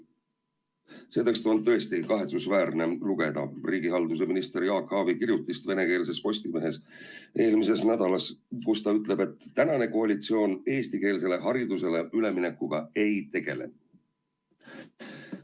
Seepärast on tõesti kahetsusväärne lugeda riigihalduse ministri Jaak Aabi kirjutist eelmise nädala venekeelses Postimehes, kus ta ütleb, et tänane koalitsioon eestikeelsele haridusele üleminekuga ei tegele.